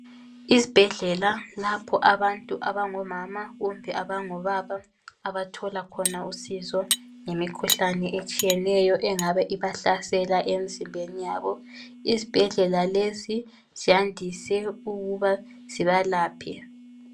Izibhedlela lapho abantu abangomama kumbe abangobaba abathola khona usizo ngemikhuhlane etshiyeneyo engabe ibahlasela emzimbeni yabo, izibhedlela lezi ziyandise ukuba zibalaphe.